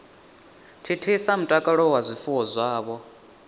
thithisa mutakalo wa zwifuwo zwavho